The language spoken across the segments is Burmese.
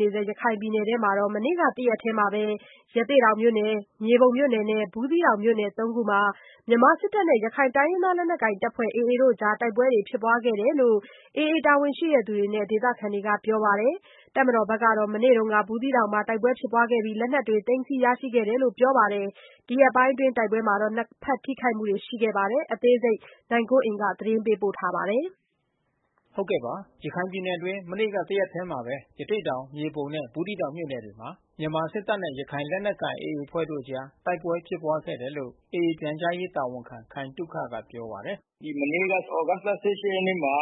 နေဆဲ ရခိုင်ပြည်နယ်အတွင်း မနေ့ကတရက်ထဲ ရသေ့တောင်၊ မြေပုံနဲ့ ဘူးသီးတောင်မြို့နယ် (၃)ခုမှာ မြန်မာစစ်တပ်နဲ့ ရခိုင်လက်နက်ကိုင် အဖွဲ့AAတို့ အကြားတိုက်ပွဲ ဖြစ်ပွားခဲ့တယ်လို့ AAတာဝန်ရှိသူတွေနဲ့ဒေသခံတွေက ပြောပါတယ်။ တပ်မတော်ဖက်ကတော့ မနေ့က ဘူးသီးတောင်မြို့နယ်မှာ တိုက်ပွဲဖြစ်ပွားခဲ့ပြီး လက်နက်သိမ်းဆီးရရှိခဲ့ တယ်လို့ ပြောပါတယ်။ ဒီရက်ပိုင်းအတွင်းတိုက်ပွဲမှာ နှစ်ဖက်ထိခိုက်မှုတွေရှိနေခဲ့တယ်လို့ AAဖက်ကဆိုပါတယ်။ ဗွီအိုအေမြန်မာပိုင်း သတင်းထောက် နိုင်ကွန်းအိန်ကနေ သတင်းပေးပို့ထားပါတယ်။ ရခိုင်ပြည်နယ်အတွင်း မနေ့ကတရက်ထဲမှာဘဲ ရသေ့တောင်၊ မြေပုံနဲ့ဘူးသီးတောင်မြို့နယ်တွေမှာ မြန်မာစစ်တပ်နဲ့ ရခိုင်လက်နက်ကိုင်AAအဖွဲ့တို့အကြား တိုက်ပွဲဖြစ်ပွားခဲ့တယ်လို့ AAပြန်ကြားရေး တာဝန်ခံခိုင်သုခက ပြောပါတယ်။ “မနေ့ကသြဂုတ်လ(၁၈)ရက်နေ့မှာ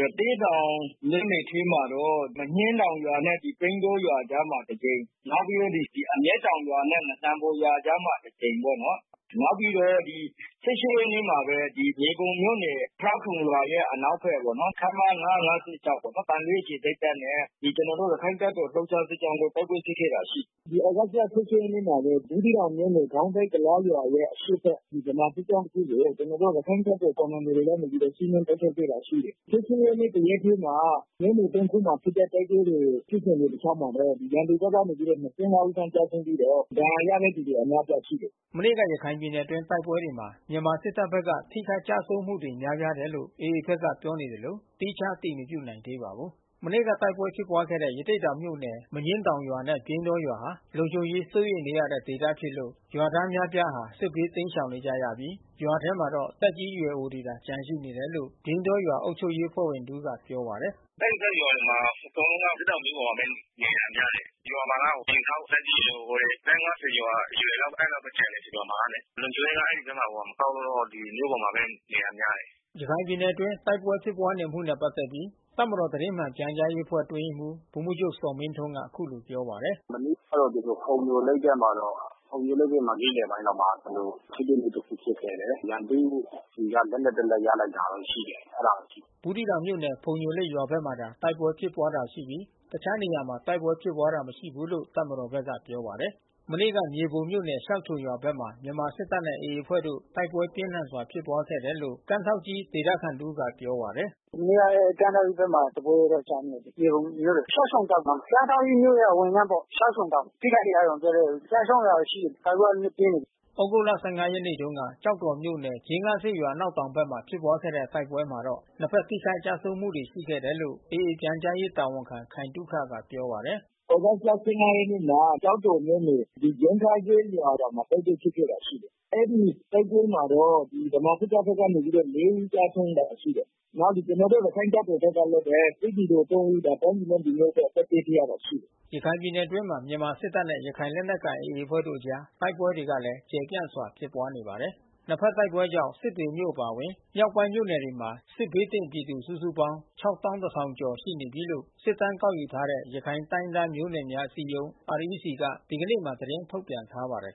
ရသေ့တောင်မြို့နယ်ထဲမှာတော့ မညှင်းတောင်ရွာနဲ့ပြိန်းတောရွာအကြားမှာ တကြိမ်။ နောက်ပြီးတော့ အမျက်တောင်ရွာနဲ့ ငစံဘော်ရွာအကြားမှာတကြိမ်ပေါ့နော်။ နောက်ပြီးတော့(၁၈)ရက်နေ့မှာဘဲ မြေပုံမြို့နယ ်၊ ရှောက်ခြုံရွာရဲ့ အနောက်ဖက်ပေါ့နော်။ ခမရ(၅၅၆) သံတွဲအခြေစိုက်တပ်နဲ့ ကျွန်တော်တို့ ရခိုင့်တပ်တော် လှုပ်ရှားစစ်ကြောင်းတို့ တိုက်ပွဲဖြစ်ပွားခဲ့တာရှိတယ်။ ဒီသြဂတ်(၁၈)ရက်နေ့မှာဘဲ ဘူးသီးတောင်မြို့နယ် ဂေါင်းတိုက် ကုလားရွာရဲ့အရှေ့ဖက် ဒီဗမာစစ်ကြောင်း တခုကို ကျွန်တော်တို့ရခိုင့်တပ်တော်ရဲ့ ကွန်မန်ဒိုတွေကနေပြီးတော့ စီးနင်း တိုက်ခိုက်ခဲ့တာရှိတယ်။ (၁၈)ရက်နေ့ တရက်ထဲမှာ မြို့နယ်(၃)ခုမှာ ဖြစ်တဲ့တိုက်ပွဲတွေ ဖြစ်စဉ်တလျှောက်မှာလဲ ရန်သူ ဖက်ကနေ(၂၅)ဦး ကျဆုံးပြီးတော့ ဒဏ်ရာရတဲ့သူတွေအများအပြားရှိတယ်။” မနေ့က ရခိုင်ပြည်နယ်အတွင်းတိုက်ပွဲတွေမှာ မြန်မာစစ်တပ်ဘက်က ထိခိုက်ကျဆုံးမှုတွေ များပြားတယ်လို့AAဖက်က ပြောနေသလို သီးခြားအတည်မပြုနိုင်သေးပါဘူး။ မနေ့ကတိုက်ပွဲဖြစ်ပွား ခဲ့တဲ့ရသေ့တောင်မြို့နယ် မညင်းတောင်ရွာနဲ့ပြိန်းတောရွာဟာ လုံခြုံရေးစိုးရိမ်နေရတဲ့ဒေသဖြစ် လို့ ရွာသားအများအပြားဟာ စစ်ဘးတိမ်းရှောင်နေကြရပြီး ရွာတွေထဲမှာတော့ သက်ကြီးရွယ်အိုတွေသာ ကျန်ရှိနေ တယ်လို့ ပြိန်းတောရွာအုပ်ချုပ်ရေး အဖွဲ့ဝင်တဦးကပြောပါတယ်။ “အဲဒီဖက်ကရွာတွေမှာ အကုန်လုံးက ရွာမှာကအိမ်စောင့် သက်ကြီးရွယ်အိုတွေ အသက်(၅၀)ကျော်အရွယ် အဲဒီလောက် ဘဲကျန်တယ်။ ရွာမှာကလေ။ လုံခြုံရေးကအဲဒီဖက်မှာ မကောင်းလို့ မြို့ပေါ်မှာဘဲ နေတာများတယ်။” ရခိုင်ပြည်နယ်အတွင်း တိုက်ပွဲဖြစ်ပွားနေမှုနဲ့ပက်သက်ပြီး တပ်မတော်သတင်းမှန်ပြန်ကြားရေး အဖွဲ့အတွင်းရေးမှူး ဗိုလ်မှူးချုပ်ဇော်မင်းထွန်းက အခုလိုပြောပါတယ်။ “မနေ့ကတော့ ကျွန်တော်တို့ဖုံညိုလိတ်ဖက်မှာတော့ နေ့လည်ပိုင်းလောက်မှာ ထိတွေ့မှု တခုဖြစ်ခဲ့တယ်။ ရန်သူ့ဆီက လက်နက်တလက် ရလိုက်တာတော့ရှိတယ်။ အဲတာဘဲရှိတယ်။” ဘူးသီးတောင်မြို့နယ်ဖုံညိုလိတ်ဖက်မှာသာတိုက်ပွဲဖြစ်ပွားတာရှိပြီး တခြားနေရာမှာ တိုက်ပွဲဖြစ်တာမရှိဘူးလို့တပ်မ တော်ဖက်ကပြောပါတယ်။ မနေ့ကမြေပုံမြို့နယ် ရှောက်ခြုံရွာဘက်မှာ မြန်မာစစ်တပ်နဲ့ AAအဖွဲ့တို့ တိုက်ပွဲပြင်းထန်ဖြစ်ပွား ခဲ့တယ်လို့ ကမ်းထောင့်ကြီး ဒေသခံတဦးကပြောပါတယ်။ “မနေ့ကကမ်းထောင့်ကြီးဘက်မှာ တပွဲတော့ ကြမ်းခဲ့တယ်။ မြေပုံမြို့နယ် ရှောက်ခြုံတောင်နားမှာ။ ကမ်းထောင့်ကြီး မြို့ရဲ့အဝင်လမ်းပေါ့။ ရှောက်ခြုံတောင်။ ထိခိုက်တာတော့မပြောတတ်ဘူး။ အကျဆုံးတာတွေရှိတယ်။ တိုက်ပွဲ ကနည်းနည်းပြင်းတယ်။” သြဂုတ်လ(၁၅) ရက်နေ့တုန်းက ကျောက်တော်မြို့နယ်၊"ဂျင်းခါးစေ့ရွာ" အနောက်တောင်ဖက်မှာ ဖြစ်ပွားခဲ့တဲ့ တိုက်ပွဲ မှာတော့ နှစ်ဖက်ထိခိုက်ကျဆုံးမှုတွေရှိတယ်လို့ AAပြန်ကြားရေး တာဝန်ခံ ခိုင်သုခကပြောပါတယ်။ “သြဂုတ်လ(၁၅)ရက်နေ့မှာ ကျောက်တော်မြို့နယ် ဂျင်းခါးစေ့ကျေးရွာမှာ တိုက်ပွဲဖြစ်ပွားခဲ့တာရှိတယ်။ အဲဒီတိုက်ပွဲမှာ တော့ ဗမာစစ်တပ်ဖက်ကနေပြီးတော့ (၄)ဦးကျဆုံးတာရှိတယ်။ နောက် ကျွန်တော်တို့ရခိုင်တပ်တော်ဖက်ကလဲဘဲ စစ်သည်တော်(၃)ဦး တိုင်းပြည်နဲ့လူမျိုးအတွက် အသက်ပေးခဲ့ရတာရှိတယ်။” ရခိုင်ပြည်နယ်အတွင်းမှာ မြန်မာစစ်တပ်နဲ့ရခိုင်လက်နက်ကိုင်AAအဖွဲ့တို့အကြား တိုက်ပွဲတွေကလဲ ကျယ်ပြန့်စွာ ဖြစ်နေပါတယ်။နှစ်ဖက်တိုက်ပွဲကြောင့် စစ်တွေမြို့အပါအဝင် မြောက်ပိုင်းမြို့နယ်တွေမှာ စစ်ဘေးသင့်ပြည်သူ စုစုပေါင်း ၆၁၀၀၀ကျော် ရှိနေပြီးလို့ စစ်တမ်းကောက်ယူထားတဲ့ ရခိုင်တိုင်းရင်းသားမျိုးနွယ်များအစည်းအရုံး (REC)က ဒီကနေ့မှာ သတင်း ထုတ် ပြန်ထားပါတယ်